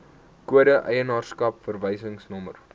kode eienaarskap verwysingsnommer